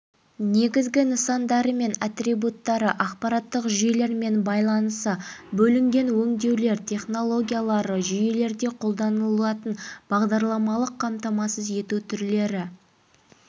негізгі нысандары және атрибуттары ақпараттық жүйелермен байланысы бөлінген өңдеулер технологиялары жүйелерде қолданылатын бағдарламалық қамтамасыз ету түрлері